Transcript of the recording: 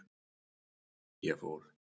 Ég fór.